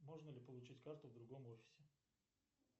можно ли получить карту в другом офисе